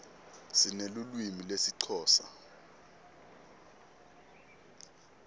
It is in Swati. sinelulwimi lesixhosa